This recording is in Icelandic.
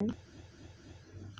Er hann dáinn?